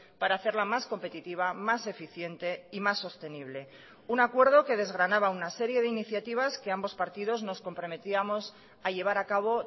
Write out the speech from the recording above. para hacerla más competitiva más eficiente y más sostenible un acuerdo que desgranaba una serie de iniciativas que ambos partidos nos comprometíamos a llevar acabo